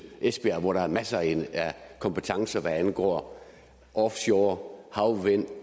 esbjerg hvor der er masser af kompetencer hvad angår offshore havvind